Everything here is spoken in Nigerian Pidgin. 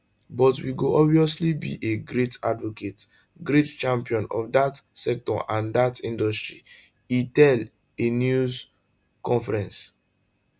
but we go obviously be a great advocate great champion of dat sector and dat industry e tell a news conference